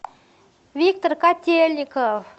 виктор котельников